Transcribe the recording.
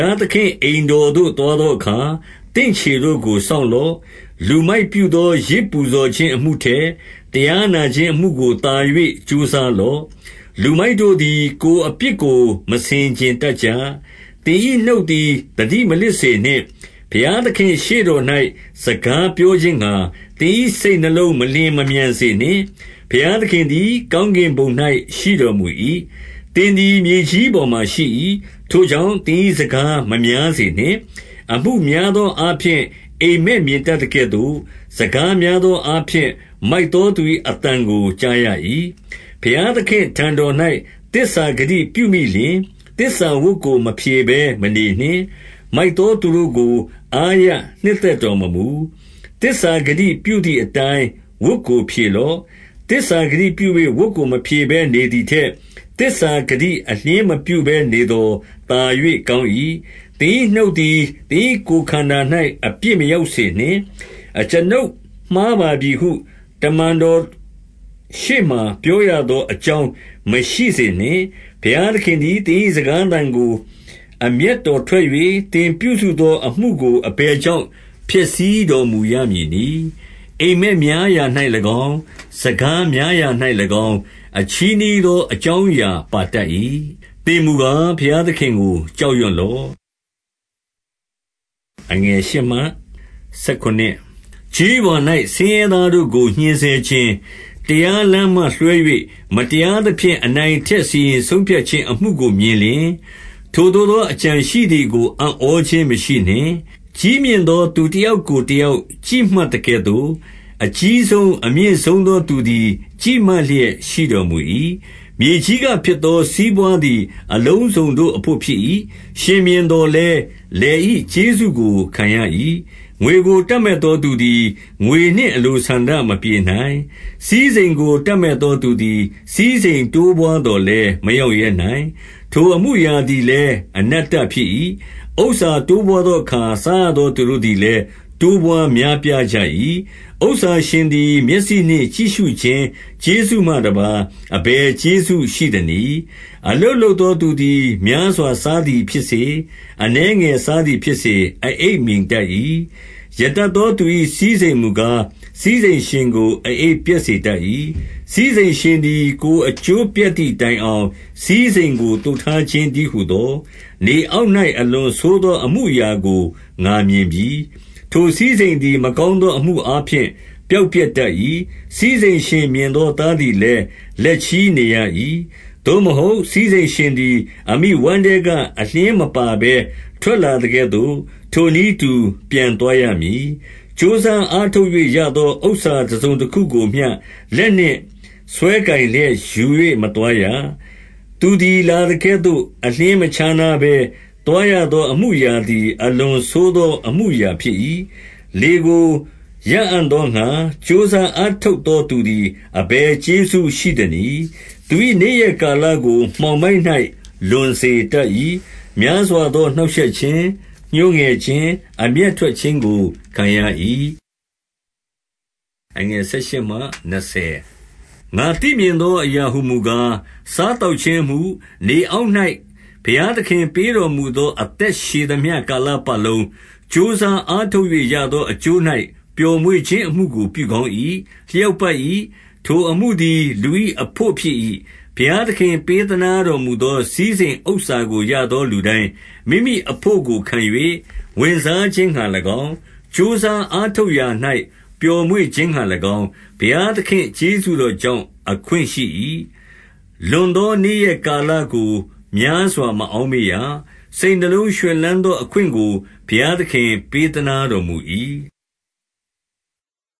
ားသခင့်အိမ်တော်သို့ သွားသောအခါ၊ သင့်ခြေတို့ကို စောင့်လော့။ လူမိုက်ပြုသော ယဇ်ပူဇော် ခြင်းအမှုထက်၊ တရားနာခြင်းအမှုကိုသာ၍ ကြိုးစား လော့။ လူမိုက်တို့သည် ကိုယ်အပြစ် ကိုမဆင်ခြင်တတ် ကြ။ 2 သင်၏နှုတ်သည် သတိမလစ်စေနှင့်။ ဘုရား သခင့်ရှေ့တော်၌ စကားပြောခြင်းငှါ၊ သင်၏စိတ်နှလုံး မလျင်မမြန်စေနှင့်။ ဘုရားသခင်သည် ကောင်းကင်ဘုံ၌ ရှိတော်မူ၏။ သင်သည် မြေကြီးပေါ်မှာရှိ၏။ ထိုကြောင့် သင်၏စကားမများစေနှင့်။ 3 အမှုများသောအားဖြင့် အိပ်မက်မြင်တတ်သကဲ့ သို့၊ စကားများသောအားဖြင့် မိုက်သော သူ၏အသံကို ကြားရ၏။ 4 ဘုရားသခင့်ထံတော်၌ သစ္စာဂတိပြုမိလျှင်၊ သစ္စာဝတ်ကို မဖြေဘဲမနေနှင့်။ မိုက်သောသူတို့ကို အားရ နှစ်သက်တော်မမူ။သစ္စာဂတိပြုသည်အတိုင်း ဝတ်ကို ဖြေလော့။ 5 သစ္စာဂတိပြု၍ ဝတ်ကိုမဖြေဘဲနေသည်ထက်၊ သစ္စာဂတိအလျှင်းမဖြေဘဲနေသော် သာ၍ကောင်း၏။ 6 သင်၏နှုတ်သည် သင်၏ကိုယ်ခန္ဓာ၌ အပြစ် မရောက်စေနှင့်။ အကျွန်ုပ်မှားပါပြီဟု၊ တမန်တော်ရှေ့မှာ ပြောရသော အကြောင်းမရှိစေနှင့်။ ဘုရားသခင်သည် သင်၏စကားသံကို အမျက်ထွက်၍၊ သင်ပြုစုသောအမှုကို အဘယ်ကြောင့် ဖျက်ဆီးတော်မူရမည်နည်း။ 7 အိမ်မက်များရာ၌၎င်း၊ စကားများရာ၌၎င်း၊ အချည်းနှီးသောအကြောင်း အရာပါတတ်၏။ သင်မူကား ဘုရားသခင်ကို ကြောက်ရွံ့လော့။ 8 ကျေးရွာ၌ ဆင်းရဲသားတို့ကို ညှဉ်းဆဲခြင်း၊ တရားလမ်းမှလွှဲ၍၊ မတရားသဖြင့် အနိုင်အထက်စီရင် စီရင်ဆုံးဖြတ်ခြင်းအမှုကိုမြင်လျှင်၊ ထိုသို့သောအကြံရှိ သည်ကို အံ့ဩခြင်းမရှိနှင့်။ ကြီးမြင့်သောသူတယောက်ကို တယောက် ကြည့်မှတ်သကဲ့သို့၊ အကြီးဆုံး၊ အမြင့်ဆုံး သောသူသည် ကြည့်မှတ်လျက်ရှိတော်မူ၏။ 9 မြေကြီးကဖြစ်သော စီးပွါးသည်အလုံးစုံတို့အဘို့ ဖြစ်၏။ ရှင်ဘုရင်သော်လည်း၊ လယ်၏ ကျေးဇူးကိုခံရ၏။ 10 ငွေကိုတပ်မက်သောသူသည် ငွေနှင့်အလိုဆန္ဒ မပြေနိုင်။ စည်းစိမ်ကိုတပ်မက်သောသူသည် စည်းစိမ် တိုးပွားသော်လည်း မရောင့်ရဲနိုင်။ ထိုအမှုအရာသည် လည်း အနတ္တဖြစ်၏။ 11 ဥစ္စာတိုးပွားသောအခါ စားရသောသူတို့သည် လည်း တိုးပွားများပြားကြ၏။ ဥစ္စာရှင်သည် မျက်စိနှင့် ကြည့်ရှုခြင်း ကျေးဇူးမှတပါး အဘယ်ကျေးဇူးရှိသနည်း။ 12 အလုပ်လုပ်သောသူသည် များစွာစားသည် ဖြစ်စေ၊ အနည်းငယ်စားသည်ဖြစ်စေ၊ အအိပ်မြိန်တတ်၏။ ရတတ်သောသူ၏ စည်းစိမ်မူကား၊ စည်းစိမ်ရှင်ကို အအိပ် ပျက်စေတတ်၏။ 13 စည်းစိမ်ရှင်သည် ကိုယ်အကျိုးပျက်သည်တိုင် အောင်၊ စည်းစိမ်ကိုသိုထားခြင်းတည်းဟူသော၊ နေ အောက်၌ အလွန်ဆိုးသောအမှုအရာကို ငါမြင်ပြီ။ 14 ထိုစည်းစိမ်သည် မကောင်းသောအမှုအားဖြင့် ပျောက်ပျက်တတ်၏။ စည်းစိမ်ရှင်မြင်သော သားသည် လည်း လက်ချည်းနေရ၏။ 15 သို့မဟုတ်၊ စည်းစိမ်ရှင်သည် အမိဝမ်းထဲက အလျှင်းမပါဘဲ ထွက်လာသကဲ့သို့၊ ထိုနည်းတူပြန်သွား ရမည်။ ကြိုးစားအားထုတ်၍ ရသောဥစ္စာတစုံတခုကိုမျှ လက်နှင့်စွဲကိုင်လျက် ယူ၍မသွားရ။ 16 သူသည်လာသကဲ့သို့ အလျှင်းမခြားနားဘဲ၊ သွား ရသောမှုအရာသည် အလွန်ဆိုးသောအမှုအရာဖြစ်၏။ လေကို ရအံ့သောငှါ ကြိုးစားအားထုတ်သော သူသည် အဘယ်ကျေးဇူးရှိသနည်း။ 17 သူ၏နေ့ရက်လာလကို မှောင်မိုက်၌ လွန်စေ တတ်၏။ များစွာသောနှောင့်ရှက်ခြင်း၊ ညှိုးငယ်ခြင်း၊ အမျက်ထွက်ခြင်းကို ခံရ၏။ 18 ငါသိမြင်သောအရာဟူမူကား၊ စားသောက်ခြင်း အမှု၊ နေအောက်၌ ဘုရားသခင်ပေးတော်မူသော အသက်ရှည်သမျှ ကာလပတ်လုံး၊ ကြိုးစားအားထုတ်၍ ရသော အကျိုး၌ပျော်မွေ့ခြင်းအမှုကို ပြုကောင်း၏။ လျောက်ပတ်၏။ ထိုအမှုသည် လူ၏အဘို့ ဖြစ်၏။ 19 ဘုရားသခင် ပေးသနားတော်မူသော စည်းစိမ် ဥစ္စာကိုရသော လူတိုင်းမိမိအဘို့ကိုခံ၍ ဝင်စားခြင်းငှါ ၎င်း၊ ကြိုးစားအားထုတ်၌ ပျော်မွေ့ခြင်းငှါ၎င်း၊ ဘုရား သခင့်ကျေးဇူးတော်ကြောင့် အခွင့်ရှိ၏။ 20 လွန်သောနေ့ရက်ကာလကို များစွာမအောက် မေ့ရ။ စိတ်နှလုံးရွှင်လန်းသောအခွင့်ကို ဘုရားသခင် ပေးသနားတော်မူ၏။